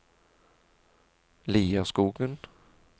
Lierskogen